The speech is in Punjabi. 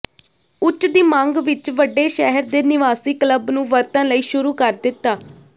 ਉੱਚ ਦੀ ਮੰਗ ਵਿਚ ਵੱਡੇ ਸ਼ਹਿਰ ਦੇ ਨਿਵਾਸੀ ਕਲੱਬ ਨੂੰ ਵਰਤਣ ਲਈ ਸ਼ੁਰੂ ਕਰ ਦਿੱਤਾ